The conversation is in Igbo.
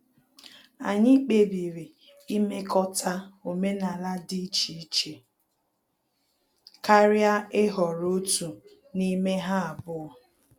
Anyị kpebiri imekọta omenala dị iche iche karịa ịhọrọ otu n'ime ha abụọ